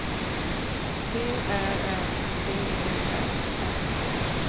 T Ä N D E R N A